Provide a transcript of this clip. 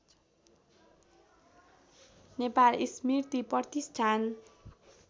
नेपाल स्मृति प्रतिष्ठान